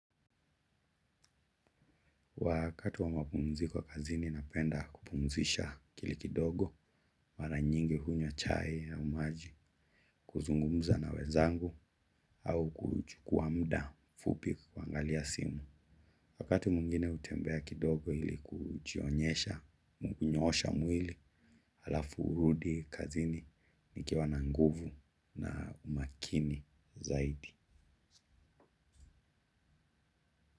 Wakati wa mapumziko kazini napenda kupumzisha akili kidogo, mara nyingi hunywa chai au maji kuzungumza na wenzangu au kuuchukua muda fupi kuangalia simu. Wakati mwingine hutembea kidogo ili kujionyesha kunyoosha mwili halafu hurudi kazini nikiwa na nguvu na umakini zaidi.